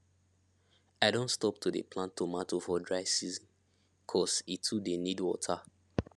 i don stop to dey plant tomatoe for dry season cos e too dey need water